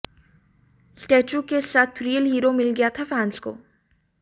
statue के साथ real hero मिल गया था फैन्स को